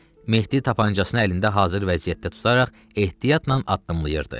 Mehdi tapançasını əlində hazır vəziyyətdə tutaraq ehtiyatla addımlayırdı.